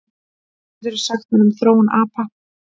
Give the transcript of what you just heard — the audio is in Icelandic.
Hvað geturðu sagt mér um þróun apa?